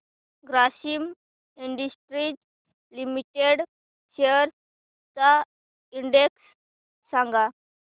Grasim industries limited shares चा index सांगा